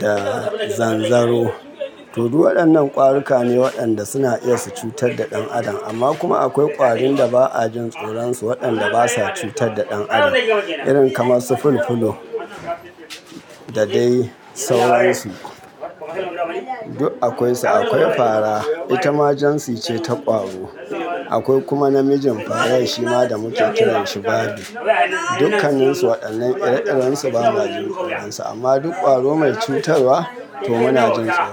da zanzaro. To duk waɗannan ƙwaruka ne waɗanda suna iya su cutar da ɗan adam. Amma kuma akwai ƙwarin da ba a jin tsoronsu waɗanda basa cutar da ɗan adam irin kamar su fulfulo da dai sauransu. Duk akwai su, akwai fara, ita majinsi ce ta ƙwaro. Akwai kuma namijin fara shima da muke kira shi Bali. Dukanninsu waɗannan ire-irensu ba ma jin tsoronsu amma duk ƙwaro mai cutarwa to muna jin tsoro.